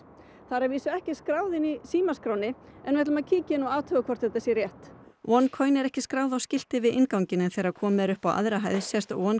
það er að vísu ekki skráð í símaskránni en við ætlum að kíkja inn og athuga hvort þetta sé rétt oneCoin er ekki skráð á skilti við innganginn en þegar komið er upp á aðra hæð sést